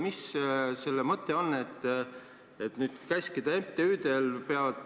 Mis selle ettepaneku mõte on?